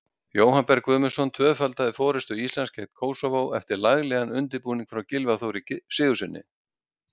Jóhann Berg Guðmundsson tvöfaldaði forystu Íslands gegn Kósóvó eftir laglegan undirbúning frá Gylfa Þóri Sigurðssyni.